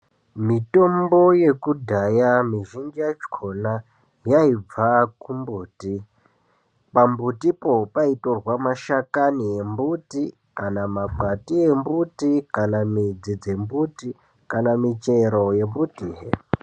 Mitombo yekudhaya mizhinji yakhona yaibva kumbuthi. Pambuthipo paitorwe mashakani embuthi kana makwati embuthi kana midzi dzembuthi kana michero dzembuthi.